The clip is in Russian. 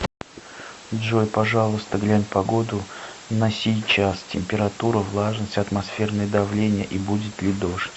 джой пожалуйста глянь погоду на сейчас температура влажность атмосферное давление и будет ли дождь